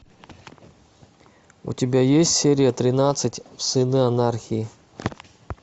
у тебя есть серия тринадцать сыны анархии